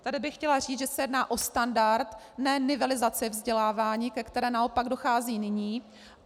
Tady bych chtěla říct, že se jedná o standard, ne nivelizaci vzdělávání, ke které naopak dochází nyní.